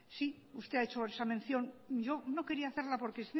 sí usted ha hecho esa mención yo no quería hacerla porque